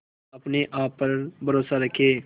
अपने आप पर भरोसा रखें